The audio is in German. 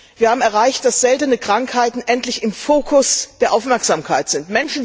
Wir haben erreicht, dass seltene Krankheiten endlich im Fokus der Aufmerksamkeit sind.